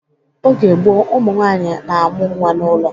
Oge gboo, ụmụ nwaanyị na amụ-nwa n'ụlọ